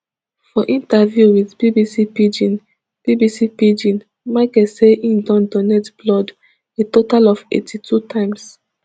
for interview wit bbc pidgin bbc pidgin michael say im don donate blood a total of eighty-two times